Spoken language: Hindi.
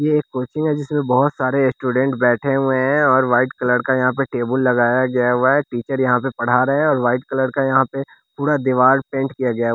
ये एक कोचिंग है जिसमें बहोत सारे स्टूडेंट बैठे हुए हैं और वाइट कलर का यहाँ पे टेबुल लगाया गया हुआ है टीचर यहाँ पे पढ़ा रहे है और वाइट कलर का यहाँ पे पूड़ा देवार पेंट किया गया है।